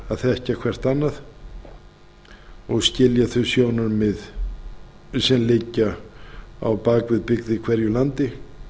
að þekkja hvert annað og skilja þau sjónarmið sem liggja á bak við byggð í hverju landi